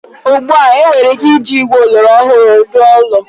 Ugbu a, enwere ike iji igwe oloro ọhụụ jiri rụọ ụlọ.